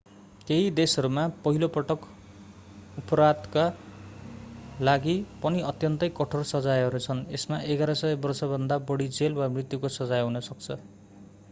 केही देशहरूमा पहिलो पटक अपराधका लागि पनि अत्यन्तै कठोर सजायहरू छन् यसमा 1100 वर्षभन्दा बढी जेल वा मृत्युको सजाय हुन सक्छ